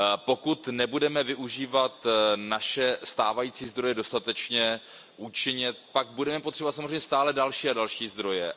Pokud nebudeme využívat naše stávající zdroje dostatečně účinně, tak budeme potřebovat samozřejmě stále další a další zdroje.